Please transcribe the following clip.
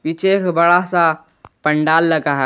पीछे एक बड़ा सा पंडाल लगा है।